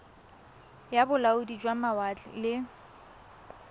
ya bolaodi jwa mawatle le